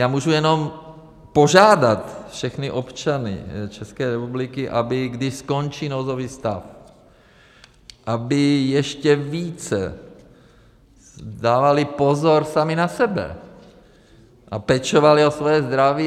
Já můžu jenom požádat všechny občany České republiky, aby když skončí nouzový stav, aby ještě více dávali pozor sami na sebe a pečovali o svoje zdraví.